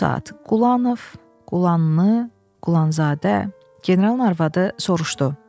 Bu saat, Qulanov, Qulanlı, Qulanzadə, generalın arvadı soruşdu.